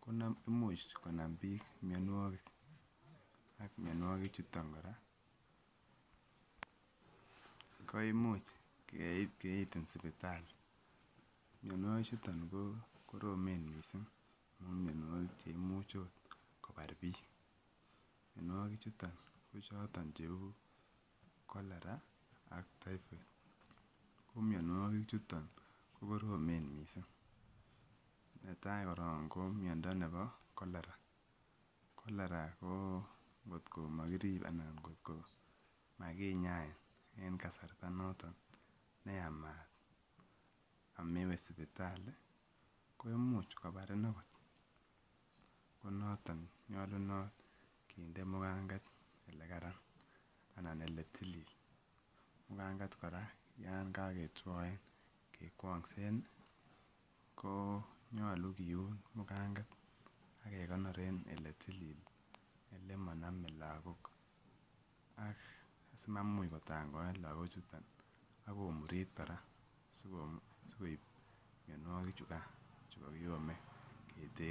ko imuch konam biik mionwokik ak mionwoki chuton kora ko imuch kiitin sipitali, mionwoki chuton ko koromen mising, amun mionwokik cheimuch oot kobar biik, mionwoki chuton ko choton cheu cholera ak typhoid, ko mionwoki chuton ko koromen mising, netai korong ko miondo nebo cholera, cholera ko ngot komokirib anan ngot ko makinyain en kasarta noton neyamat amewe sipitali ko imuch kobarin okot konoton nyolunot kinde mukanget elekaran anan eletilil, mukanget kora yoon koketwoen kekwongsen ko nyolu kiun mukanget ak kekonor en eletilil elemonome lokok ak asimamuch kotangoen lokochuton ak komurit kora sikoib mionwoki chukan chukokiyome keter.